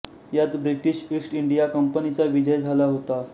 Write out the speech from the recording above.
यात British East India कंपनीचा विजय झाला होता